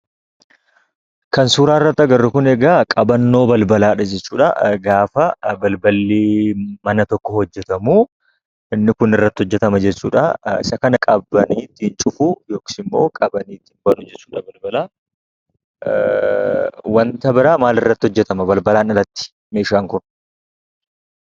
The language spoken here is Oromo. Kan suura irratti arginu kun, qabannoo balbalaa gaafa balballi mana tokkoo hojjetamu inni Kun irratti hojjetama jechuudha. Isa kana qabanii cufu yookiin ittin banu jechuudha. Kan biraan maal irratti hojjetama meeshaan Kun?